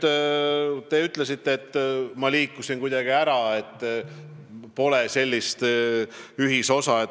Te ütlesite, et ma liikusin kuidagi eesmärgist kõrvale, ei otsi ühisosa.